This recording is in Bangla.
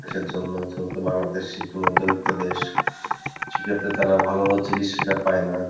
জন্য যেহেতু বাংলাদেশ একটু মধ্যবিত্ত দেশ সেক্ষেত্রে তারা ভালো চিকিৎসা টা পাই না